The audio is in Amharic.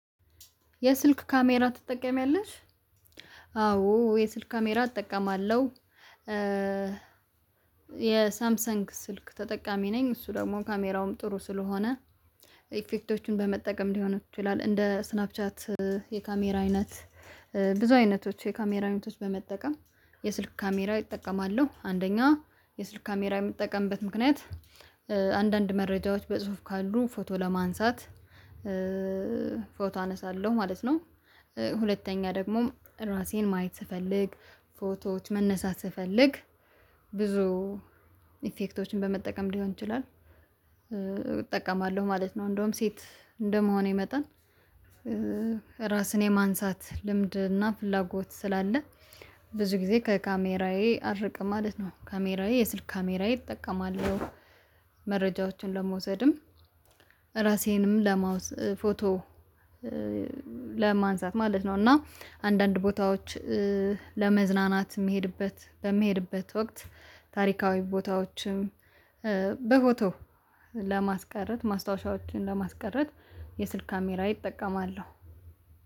የስልክ ካሜራ ትጠቀሚያለሽ? አዎ የስልክ ካሜራ እጠቀማለሁ የሳምሰንግ ስልክ ተጠቃሚ ነኝ እሱ ደግሞ ካሜራውም ጥሩ ስለሆነ ኢፌክቶችን በመጠቀም ሊሆን ይችላል እንደ ስናፕ ቻት የካሜራ አይነት ብዙ አይነቶች የካሜራ አይነቶች በመጠቀም የስልክ ካሜራ እጠቀማለሁ አንደኛ የስልክ ካሜራ የምጠቀምበት ምክንያት አንዳንድ መረጃዎች በጽሁፍ ካሉ ፎቶ ለማንሳት ፎቶ አነሳለሁ ማለት ነው ሁለተኛ ደግሞ ራሴን ማየት ስፈልግ ፎቶዎች መነሳት ስፈልግ ብዙ ኢፌክቶችን በመጠቀም ሊሆን ይችላል እጠቀማለሁ ማለት ነው እንደውም ሴት እንደመሆን የመጠን ራስን የማንሳት ልምድ እና ፍላጎት ስላለ ብዙ ጊዜ ከካሜራዬ አልርቅም ማለት ነው ካሜራዬ የስልክ ካሜራዬ እጠቀማለሁ መረጃዎችን ለመውሰድም ራሴንም ለማውስ ፎቶ ለማንሳት ማለት ነው እና አንዳንድ ቦታዎች ለመዝናናት የሚሄድበት በሚሄድበት ወቅት ታሪካዊ ቦታዎችም በፎቶ ለማስቀረት ማስታወሻዎችን ለማስቀረት የስልክ ካሜራሜን ይጠቀማለሁ